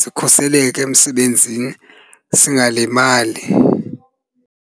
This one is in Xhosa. sikhuseleke emsebenzini singalimali.